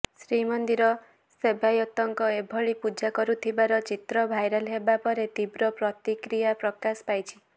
ଶ୍ରୀମନ୍ଦିର ସେବାୟତଙ୍କ ଏଭଳି ପୂଜା କରୁଥିବାର ଚିତ୍ର ଭାଇରାଲ ହେବା ପରେ ତୀବ୍ର ପ୍ରତିକ୍ରିୟା ପ୍ରକାଶ ପାଇଛି